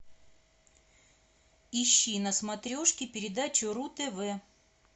ищи на смотрешке передачу ру тв